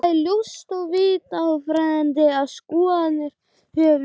Þó er ljóst að í vafaatriðum ráða skoðanir höfundar.